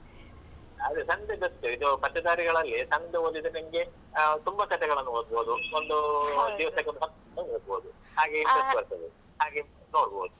ಅದೇ ಸಣ್ದೇ best ಇದು ಪತ್ತೇದಾರಿಗಳಲ್ಲಿ ಸಣ್ದು ಓದಿದ್ರೆ ತುಂಬ ಕಥೆಗಳನ್ನು ಓದ್ಬೋದು. ಒಂದು ದಿವಸಕ್ಕೊಂದು ಹತ್ತಾದ್ರು ಓದ್ಬೋದು. ಹಾಗೆ interest ಬರ್ತದೆ. ಹಾಗೆ ನೋಡ್ಬೋದು.